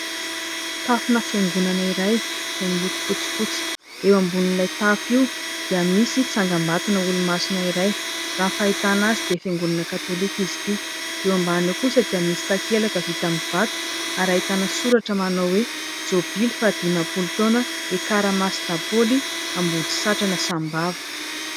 Tafona fiangonana iray izay miloko fotsifotsy ; eo ambonin'ilay tafo io dia misy tsangam-bato an'olo-masina iray. Raha ny fahitana azy dia fiangonana katolika izy ity. Eo ambany eo kosa dia ahitana takelaka vita amin'ny vato, ary ahitana soratra manao hoe :" jobily faha dimampolo taona, ekara masindahy Paoly Ambodisatrana Sahambava".